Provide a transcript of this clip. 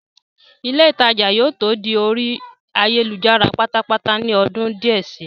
ilé ìtajà yóò tó di orí ayélujára pátápátá ní ọdún díẹ̀ si